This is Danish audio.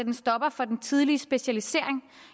en stopper for den tidlige specialisering